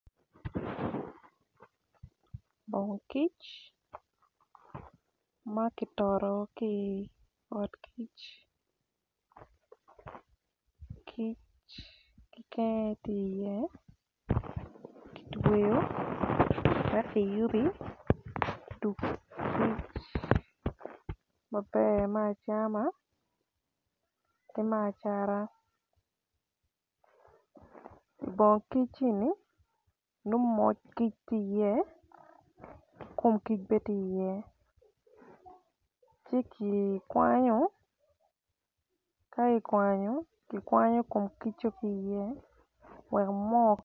Moo kic ma ki toto ki i ot kic kic kiken aye ti ye ki tweyo wek ki yubi odug kic maber me acama ki me ibongkic ini nongo moc kic ti iye ki kum kic be ti iye ci ki kwanyo ka ikwanyo ki kwanyo kum kico ki iye wek moo